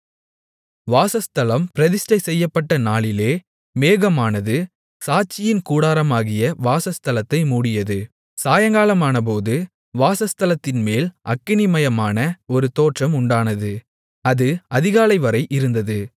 வாசஸ்தலம் பிரதிஷ்டைசெய்யப்பட்ட நாளிலே மேகமானது சாட்சியின் கூடாரமாகிய வாசஸ்தலத்தை மூடியது சாயங்காலமானபோது வாசஸ்தலத்தின்மேல் அக்கினிமயமான ஒரு தோற்றம் உண்டானது அது அதிகாலைவரை இருந்தது